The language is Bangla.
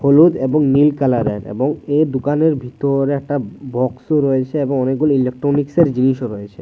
হলুদ এবং নীল কালারের এবং এ দোকানের ভিতর একটা বক্সও রয়েছে এবং অনেকগুলি ইলকট্রনিক্সের জিনিসও রয়েছে।